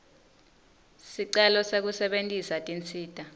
sicelo sekusebentisa tinsita